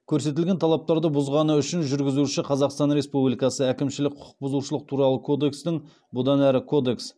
көрсетілген талаптарды бұзғаны үшін жүргізуші қазақстан республикасы әкімшілік құқық бұзушылық туралы кодексінің